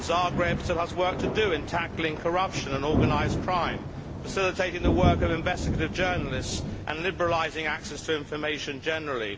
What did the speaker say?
Zagreb still has work to do in tackling corruption and organised crime, facilitating the work of investigative journalists and liberalising access to information in general.